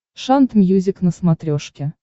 шант мьюзик на смотрешке